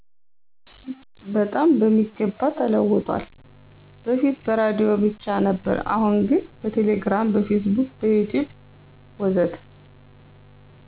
በጣም በሚገባ ተለውጧል በፊት በራዲዮ ብቻ ነበር አሁን ግን በቴሌግራም፣ በፌስቡክ፣ ዩቲዩብ ወዘተ።